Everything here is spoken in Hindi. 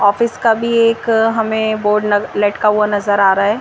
ऑफिस का भी एक हमें बोर्ड लटका हुआ नजर आ रहा है।